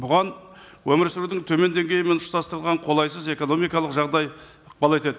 бұған өмір сүрудің төмен деңгейі мен ұштастырылған қолайсыз экономикалық жағдай ықпал етеді